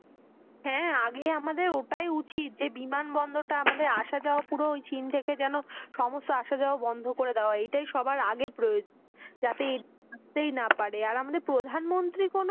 হ্যাঁ, আগে ওটাই আমাদের ওটাই উচিত যে বিমান বন্দরটা যে আমাদের আসা যাওয়া পুরো ওই চীন থেকে যেনো সমস্ত আসা যাওয়া বন্ধ করে দেওয়া এটাই সবার আগে প্রয়োজন যাতে আসতেই না পারে আর আমাদের প্রধান মন্ত্রী কোনো,